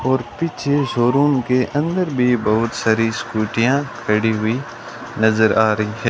और पीछे showroom के अंदर भी बहुत सारी स्कूटियां खड़ी हुई नज़र आ रही है।